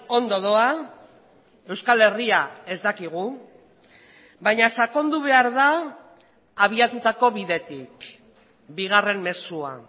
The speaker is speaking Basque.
ondo doa euskal herria ez dakigu baina sakondu behar da abiatutako bidetik bigarren mezua